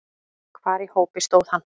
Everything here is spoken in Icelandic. Hvar í hópi stóð hann?